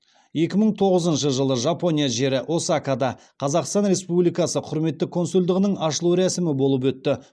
екі мың тоғызыншы жылы жылы жапония жері осакада қазақстан республикасы құрметті консулдығының ашылу рәсімі болып өтті